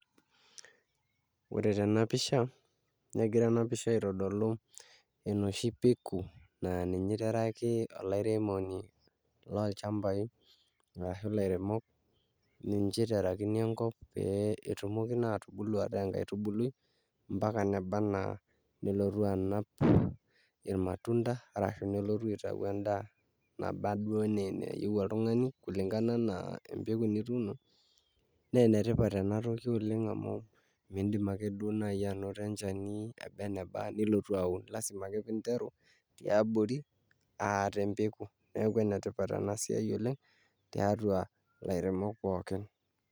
Ore tena pisha negira ena pisha aitodolu enoshi peku naa ninye iteraki olairemoni lolchambai arashu ilairemok ninche iterakini enkop peyie etumoki naa atubulu ataa enkaitubului mpaka neba enaa nelotu anap imatunda ashu nelotu aitau endaa naba duo enaa enayieu oltung'ani kulingana enaa enituuno naa enetipat ena toki oleng' amu miidim ake duo naaji anoto enchani eba eneba nilotu aun lasima ake pee interu tiabori aa tempeku neeku enetipat ena siai oleng' tiatua ilairemok pookin.